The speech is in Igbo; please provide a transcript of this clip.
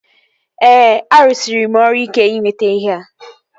Ee, arụsịrị m ọrụ ike ịnweta ihea